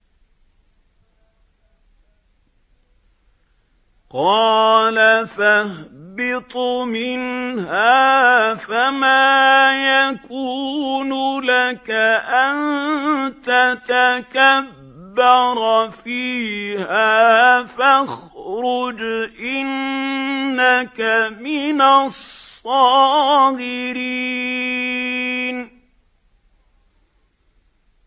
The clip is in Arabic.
قَالَ فَاهْبِطْ مِنْهَا فَمَا يَكُونُ لَكَ أَن تَتَكَبَّرَ فِيهَا فَاخْرُجْ إِنَّكَ مِنَ الصَّاغِرِينَ